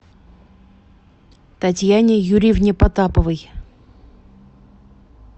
татьяне юрьевне потаповой